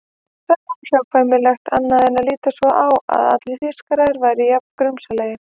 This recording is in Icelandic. Það var óhjákvæmilegt annað en að líta svo á að allir Þýskarar væru jafn grunsamlegir.